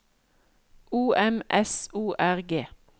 O M S O R G